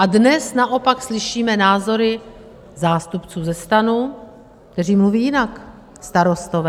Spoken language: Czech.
A dnes naopak slyšíme názory zástupců ze STAN, kteří mluví jinak, Starostové.